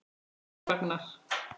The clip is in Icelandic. sagði Ragnar.